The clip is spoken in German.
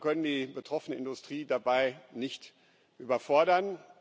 Aber wir können die betroffene Industrie dabei nicht überfordern.